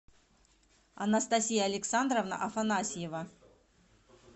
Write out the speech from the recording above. анастасия александровна афанасьева